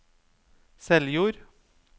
Seljord